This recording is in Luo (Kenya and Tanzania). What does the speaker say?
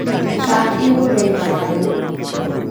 Chak imuro e chai